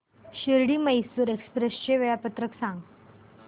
Shirdi Mysore express चे वेळापत्रक सांग